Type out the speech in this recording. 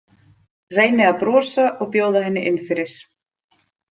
Reyni að brosa og bjóða henni inn fyrir.